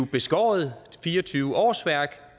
beskåret fire og tyve årsværk